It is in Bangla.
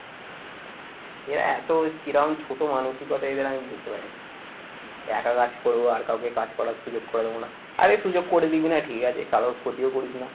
এরা এত কিরাম ছোট মানসিকতা এদের আমি বুঝতে পারি না একা কাজ করবো আর কাউকে কাজ করার সুযোগ করে দেবো না আরে সুযোগ করে দিবি না ঠিক আছে কারোর ক্ষতিও করিস না